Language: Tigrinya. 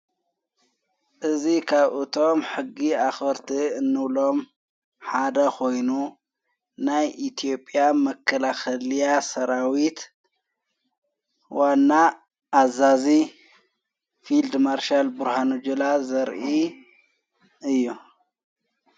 እዙ ኻብ እቶም ሕጊ ኣኽርቲ እኖሎም ሓደ ኾይኑ ናይ ኢትዮጵያ መከላኸልያ ሰራዊት ዋና ኣዛዙ ፊልድ ማርሻል ቡርሃኑ ጁላ ዘርኢ እዩ::